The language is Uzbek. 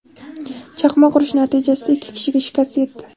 Chaqmoq urishi natijasida ikki kishiga shikast yetdi.